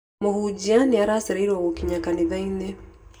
Mũhunjia nĩacereirwo gũkinya kanitha-inĩ.